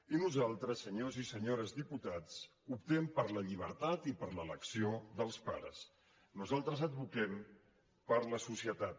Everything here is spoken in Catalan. i nosaltres senyors i senyores diputats optem per la llibertat i per l’elecció dels pares nosaltres advoquem per la societat